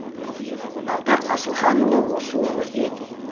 ардақ асылханұлы осы өңірден